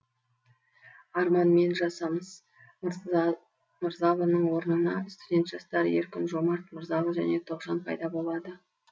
арман мен жасамыс мырзалының орнына студент жастар еркін жомарт мырзалы және тоғжан пайда болады